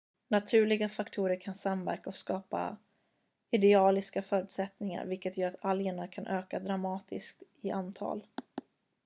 naturliga faktorer kan samverka och skapa idealiska förutsättningar vilket gör att algerna kan öka dramatiskt i antal